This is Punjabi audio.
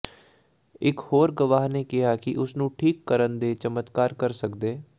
ਇਕ ਹੋਰ ਗਵਾਹ ਨੇ ਕਿਹਾ ਕਿ ਉਸ ਨੂੰ ਠੀਕ ਕਰਨ ਦੇ ਚਮਤਕਾਰ ਕਰ ਸਕਦੇ